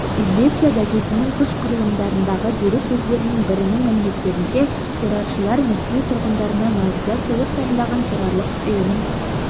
известия газетінің күш құрылымдарындағы дерек көздерінің бірінің мәліметтерінше терроршылар мәскеу тұрғындарына наурызда сыйлық дайындаған террорлық ұйымын